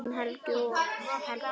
Þín Helgi og Helga.